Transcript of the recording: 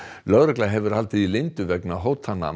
lögregla hefur haldið því leyndu vegna hótana